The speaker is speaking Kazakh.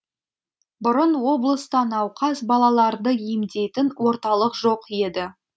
бұрын облыста науқас балаларды емдейтін орталық жоқ еді